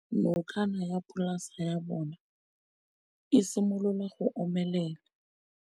Nokana ya polase ya bona, e simolola go omelela.